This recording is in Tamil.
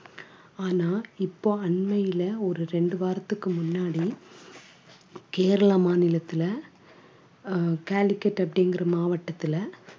ஆனா இப்போ அண்மையில ஒரு ரெண்டு வாரத்துக்கு முன்னாடி கேரள மாநிலத்தில அஹ் அப்படிங்கற மாவட்டத்துல